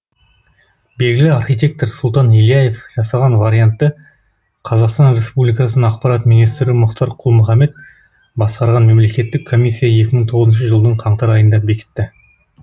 белгілі архитектор сұлтан ильяев жасаған вариантты қазақстан республикасының ақпарат министрі мұхтар құл мұхаммед басқарған мемлекеттік комиссия екі мың тоғызыншы жылдың қаңтар айында бекітті